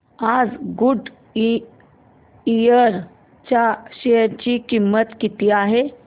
आज गुडइयर च्या शेअर ची किंमत किती आहे